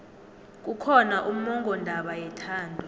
kukhona ummongondaba yethando